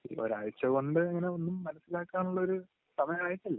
ഒരാഴ്ചകൊണ്ട്...അങ്ങനെയൊന്നും മനസിലാക്കാനുള്ള ഒരു സമയമായിട്ടില്ല.